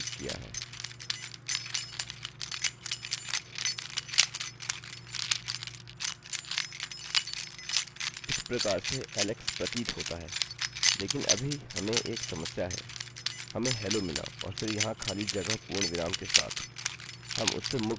इस प्रकार से ऐलेक्स प्रतीत होता है लेकिन अभी हमें एक समस्या है हमें hello मिला और फिर यहाँ खाली जगह पूर्णविराम के साथ हम उससे मुक्त होना चाहते हैं